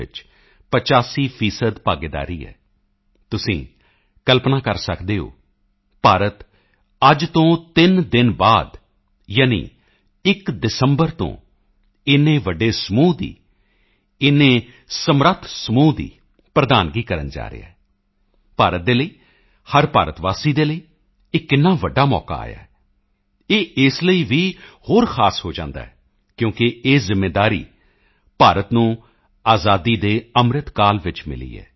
ਵਿੱਚ 85 ਫੀਸਦੀ ਭਾਗੀਦਾਰੀ ਹੈ ਤੁਸੀਂ ਕਲਪਨਾ ਕਰ ਸਕਦੇ ਹੋ ਭਾਰਤ ਅੱਜ ਤੋਂ ਤਿੰਨ ਦਿਨ ਬਾਅਦ ਯਾਨੀ 1 ਦਸੰਬਰ ਤੋਂ ਇੰਨੇ ਵੱਡੇ ਸਮੂਹ ਦੀ ਇੰਨੇ ਸਮਰੱਥ ਸਮੂਹ ਦੀ ਪ੍ਰਧਾਨਗੀ ਕਰਨ ਜਾ ਰਿਹਾ ਹੈ ਭਾਰਤ ਦੇ ਲਈ ਹਰ ਭਾਰਤ ਵਾਸੀ ਦੇ ਲਈ ਇਹ ਕਿੰਨਾ ਵੱਡਾ ਮੌਕਾ ਆਇਆ ਹੈ ਇਹ ਇਸ ਲਈ ਵੀ ਹੋਰ ਖਾਸ ਹੋ ਜਾਂਦਾ ਹੈ ਕਿਉਂਕਿ ਇਹ ਜ਼ਿੰਮੇਵਾਰੀ ਭਾਰਤ ਨੂੰ ਆਜ਼ਾਦੀ ਕੇ ਅੰਮ੍ਰਿਤ ਕਾਲ ਵਿੱਚ ਮਿਲੀ ਹੈ